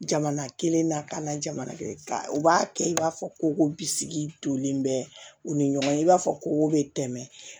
Jamana kelen na ka na jamana u b'a kɛ i b'a fɔ ko bisigi tolen bɛ u ni ɲɔgɔn cɛ i b'a fɔ ko bɛ tɛmɛ